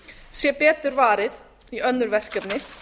sé betur varið í önnur verkefni